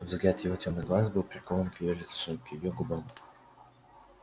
взгляд его тёмных глаз был прикован к её лицу к её губам